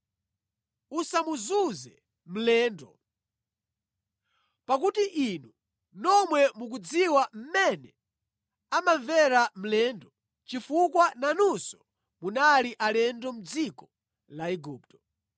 “Usamuzunze mlendo, pakuti inu nomwe mukudziwa mmene amamvera mlendo chifukwa nanunso munali alendo mʼdziko la Igupto.